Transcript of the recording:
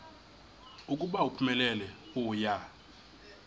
ukuba uphumelele uya